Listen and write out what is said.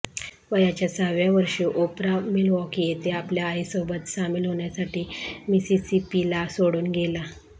वयाच्या सहाव्या वर्षी ओपरा मिल्वॉकी येथे आपल्या आईसोबत सामील होण्यासाठी मिसिसिपीला सोडून गेला